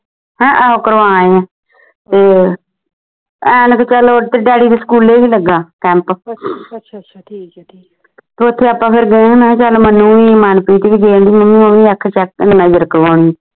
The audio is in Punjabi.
ਹੈਂ ਉਹ ਕਰਵਾ ਆਈ ਆ ਅੱਜਕਲ ਉਹ ਤੇਰੇ ਡੈਡੀ ਦੇ ਸਕੂਲੇ ਵੀ ਲੱਗਾ camp ਤੇ ਓਥੇ ਆਪਾਂ ਫੇਰ ਚੱਲ ਮਨੁ ਵੀ ਮਨਪ੍ਰੀਤ ਵੀ ਕਹਿਣ ਢਈ ਮੰਮੀ ਮੈਂ ਨਜਰ ਕਰਾਉਣੀ